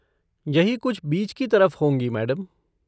यही कुछ बीच की तरफ होंगी, मैडम।